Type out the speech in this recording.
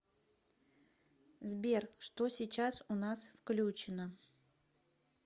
сбер что сейчас у нас включено